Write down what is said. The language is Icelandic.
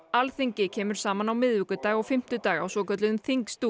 Alþingi kemur saman á miðvikudag og fimmtudag á svokölluðum